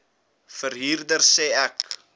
verhuurder sê ek